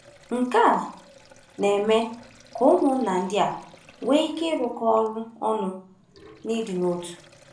Nke a na-eme ka ụmụnna ndị a nwee ike ịrụkọ ọrụ ọnụ n’ịdị n’otu.